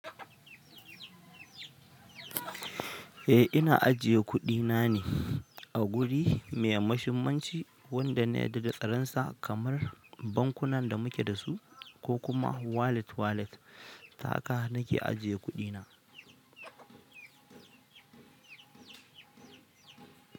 Eh ina ajiye kuɗi na ne a guri mai mashumanci wanda na yadda da tsaron sa kamar bankunan da muke da su ko kuma wallet wallet. Ta haka nake ajiye kuɗi na.